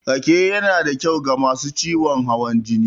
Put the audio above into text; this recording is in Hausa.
Rake yanada kyau ga masu ciwon hawan jini.